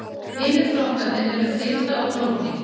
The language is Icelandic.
hinir flokkarnir eru fita og prótín